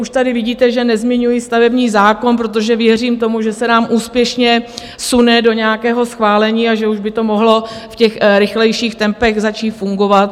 Už tady vidíte, že nezmiňuji stavební zákon, protože věřím tomu, že se nám úspěšně sune do nějakého schválení a že už by to mohlo v těch rychlejších tempech začít fungovat.